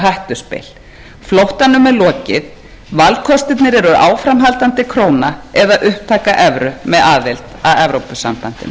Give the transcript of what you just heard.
hættuspil flóttanum er lokið valkostirnir eru áframhaldandi króna eða upptaka evru með aðild að evrópusambandinu